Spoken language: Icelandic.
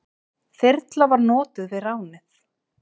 Þyrla var notuð við ránið.